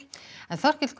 Þorkell Gunnar